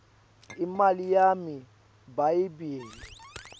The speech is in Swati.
imali yami bayebile